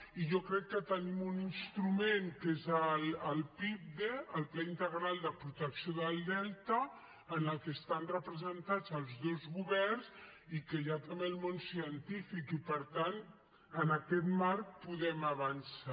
i jo crec que tenim un instrument que és el pipde el pla integral de protecció del delta en el que estan representats els dos governs i que hi ha també el món científic i per tant en aquest marc podem avançar